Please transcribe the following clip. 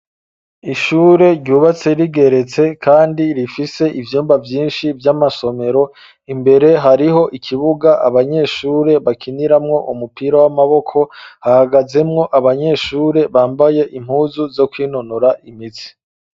Ishure ryubatse rigeretse kandi rifise ivyumba vyinshi vy'amasomero imbere hariho ikibuga abanyeshure bakiniramwo umupira w'amaboko, hagazemwo abanyeshure bambaye impuzu zo kwinonora imitsi.